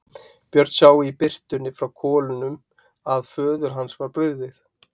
Björn sá í birtunni frá kolunni að föður hans var brugðið.